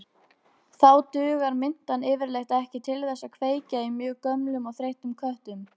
Þá dugar mintan yfirleitt ekki til þess að kveikja í mjög gömlum og þreyttum köttum.